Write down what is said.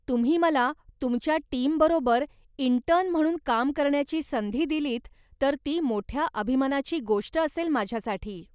तुम्ही मला तुमच्या टीमबरोबर इंटर्न म्हणून काम करण्याची संधी दिलीत तर ती मोठ्या अभिमानाची गोष्ट असेल माझ्यासाठी.